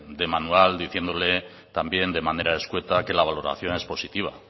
de manual diciéndole también de manera escueta que la valoración es positiva